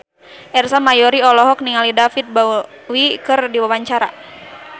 Ersa Mayori olohok ningali David Bowie keur diwawancara